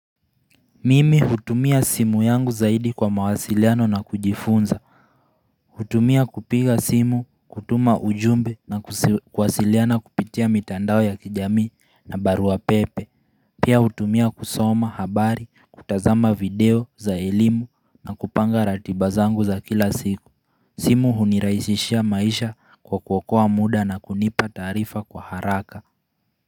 Mimi hutumia simu yangu zaidi kwa mawasiliano na kujifunza hutumia kupiga simu, kutuma ujumbe na kuwasiliana kupitia mitandao ya kijamii na barua pepe Pia hutumia kusoma, habari, kutazama video, za elimu na kupanga ratiba zangu za kila siku simu hunirahisishia maisha kwa kuokoa muda na kunipa taarifa kwa haraka.